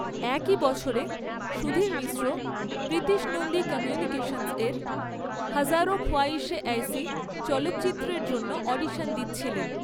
একই বছরে, সুধীর মিশ্র প্রীতিশ নন্দী কমিউনিকেশনসের হাজারোঁ খোয়াইশে এইসি চলচ্চিত্রের জন্য অডিশন দিচ্ছিলেন।